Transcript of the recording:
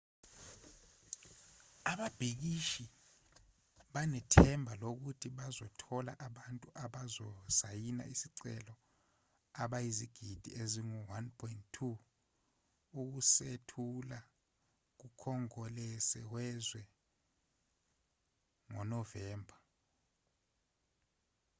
ababhikishi banethemba lokuthi bazothola abantu abazosayina isicelo abayizigidi ezingu-1.2 ukusethula kukhongolose wezwe ngonovemba